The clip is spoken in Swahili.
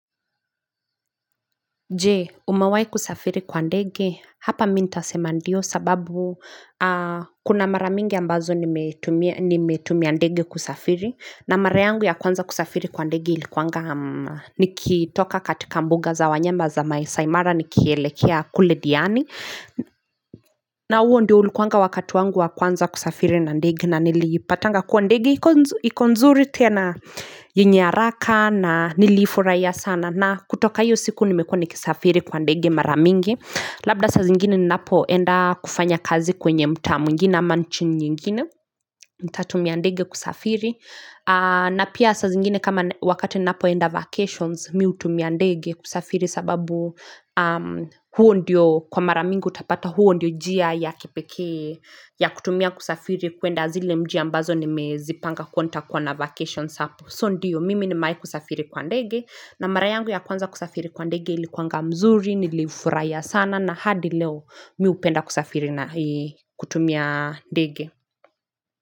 Je umewai kusafiri kwa ndege hapa mintasema ndio sababu kuna maramingi ambazo nimetumia ndege kusafiri na marayngu ya kwanza kusafiri kwa ndege ilikuanga nikitoka katika mbuga za wanyama za maaisaimara nikielekea kule diani na huo ndio ulikuanga wakati wangu wa kwanza kusafiri na ndege na nilipatanga kwa ndege ikonzuri tena yenyeharaka na niliifurahia sana na kutoka iyo siku nimekuwa nikisafiri kwa ndege maramingi. Labda sa zingine ninapo enda kufanya kazi kwenye mtaa mwigine amanchi nyingine nta tumia ndege kusafiri na pia sa zingine kama wakati ni napo enda vacations mihu tumia ndege kusafiri sababu huo ndiyo kwa maramingi utapata huo ndiyo njia ya kipekee ya kutumia kusafiri kuenda zile mjia mbazo ni mezipanga kuwanta kuwa na vacations hapo. So ndiyo mimi ni mewahikusafiri kwa ndege na marayangu ya kwanza kusafiri kwa ndege ili kwanga mzuri Nilifurahiya sana na hadi leo miupenda kusafiri na kutumia dege.